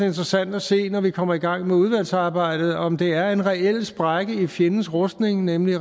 interessant at se når vi kommer i gang med udvalgsarbejdet om det er en reel sprække i fjendens rustning nemlig